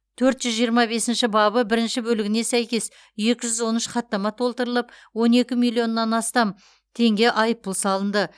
төрт жүз жиырма бесінші бабы бірінші бөлігіне сәйкес екі жүз он үш хаттама толтырылып он екі миллионнан астам теңге айыппұл салынды